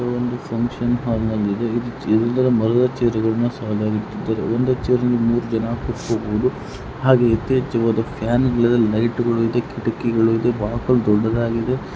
ಯಾವ್ದೋ ಒಂದು ಫಂಕ್ಷನ್ ಹಾಲ್ನಲ್ಲಿದೆ ಮಲಗೋ ಚೇರ್ಗಳನ್ನು ಸಾಲಾಗಿ ಇಟ್ಟಿದ್ದಾರೆ ಒಂದು ಚೇರ್ನಲ್ಲಿ ಮೂರೂ ಜನ ಕುತ್ಕೋಬಹುದು. ಹಾಗೆಯೇ ಯಥೇಚ್ಛವಾದ ಫ್ಯಾನ್ಗಳಿವೆ ಲೈಟ್ಗಳು ಇದೆ ಕಿಟಕಿಗಳಿದೆ ಬಾಕಲು ದೊಡ್ಡದಾಗಿದೆ.